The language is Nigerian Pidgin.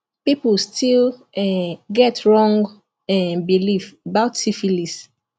people still um get wrong um belief about syphilis